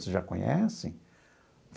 Vocês já conhecem?